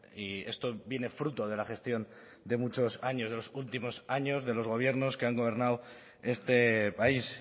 y esto viene fruto de la gestión de muchos años de los últimos años de los gobiernos que han gobernado este país